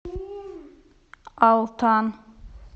алтан